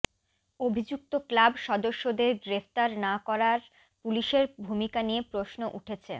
অভিযুক্ত ক্লাব সদস্যদের গ্রেফতার না করার পুলিশের ভূমিকা নিয়ে প্রশ্ন উঠেছে